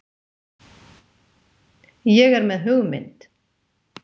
ÉG ER MEÐ HUGMYND.